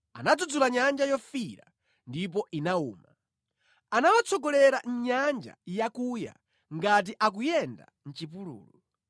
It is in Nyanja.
Anadzudzula Nyanja Yofiira, ndipo inawuma; anawatsogolera mʼnyanja yakuya ngati akuyenda mʼchipululu.